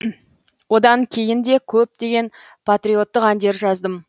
одан кейін де көптеген патриоттық әндер жаздым